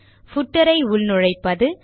footer களை உள்நுழைப்பது